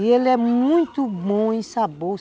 E ele é muito bom em sabor.